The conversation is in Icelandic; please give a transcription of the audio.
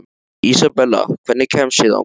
Ísabella, hvernig kemst ég þangað?